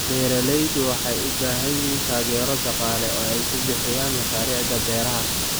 Beeraleydu waxay u baahan yihiin taageero dhaqaale oo ay ku bixiyaan mashaariicda beeraha.